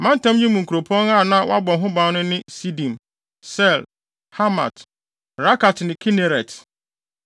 Mantam yi mu nkuropɔn a na wɔabɔ ho ban no ne Sidim, Ser, Hamat, Rakat ne Kineret,